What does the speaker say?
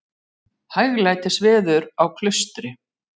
Hæglætis veður á Klaustri